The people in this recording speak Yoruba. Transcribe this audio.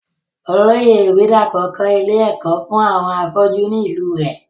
Olóyè ìbídàpọ̀ kọ́ ilé ẹ̀kọ́ fún àwọn afọ́jú ni ìlú u rẹ̀